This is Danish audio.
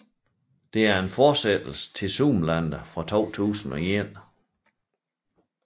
Det er fortsættelsen til Zoolander fra 2001